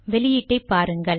வெளியீட்டை பாருங்கள்